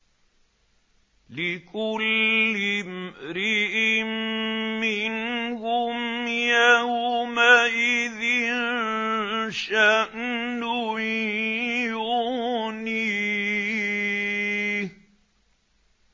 لِكُلِّ امْرِئٍ مِّنْهُمْ يَوْمَئِذٍ شَأْنٌ يُغْنِيهِ